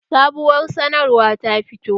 Sabuwar sanarwa ta fito